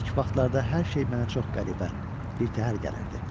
İlk vaxtlarda hər şey mənə çox qəribə, birtəhər gəlirdi.